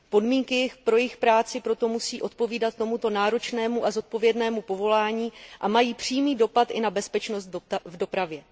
Podmínky pro jejich práci proto musí odpovídat tomuto náročnému a zodpovědnému povolání a mají přímý dopad i na bezpečnost v dopravě.